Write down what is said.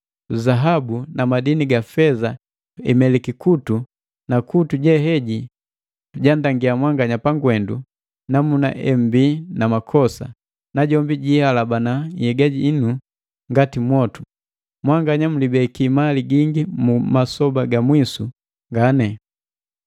Zahabu na madini ga feza imeliki kutu na kutu je heji jandangiya mwanganya pagwendu namuna embii na makosa, najombi jihalabana nhyega inu ngati mwotu. Mwanganya mlibeki mali gingi mu masoba ga mwisu gane.